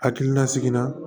Hakilina sigi la